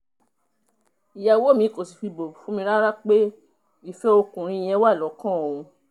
ìyàwó mi kò sì fi bò fún mi rárá pé ìfẹ́ ọkùnrin yẹn wà lọ́kàn òun